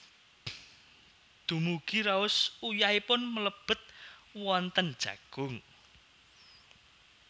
Dumugi raos uyahipun mlebet wonten jagung